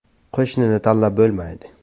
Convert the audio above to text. Qo‘shnini tanlab bo‘lmaydi.